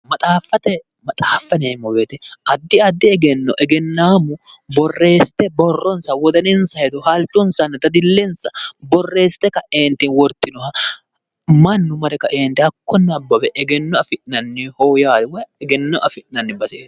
mxaaffate, maxaaffate yineemmo woyiite addi addi egenno egennaammu borreessite borronsa wodaninsa hedo halchonsanna dadillensa borreessite kaeenti wortinoha mannu mare kaeenti hakko mare nabbawe egenno afi'nanniho yaate. woyi egenno afi'nanni baseeti.